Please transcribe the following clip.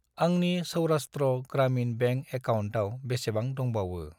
आंनि सौरास्ट्र ग्रामिन बेंक एकाउन्टाव बेसेबां दंबावो?